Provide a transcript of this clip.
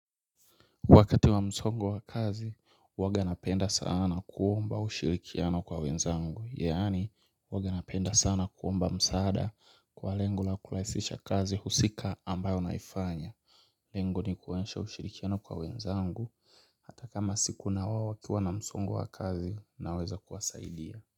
Wakati wa msongo wa kazi huwanga napenda sana kuomba ushirikiano kwa wenzangu yaani huwanga napenda sana kuomba msaada kwa lengo la kurahisisha kazi husika ambayo naifanya Lengo ni kuonyesha ushirikiano kwa wenzangu ata kama siku na wao wakiwa na msongo wa kazi naweza kuwasaidia.